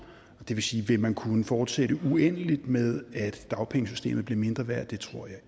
det vil sige vil man kunne fortsætte uendeligt med at dagpengesystemet bliver mindre værd det tror jeg